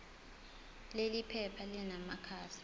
leli phepha linamakhasi